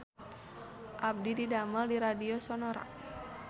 Abdi didamel di Radio Sonora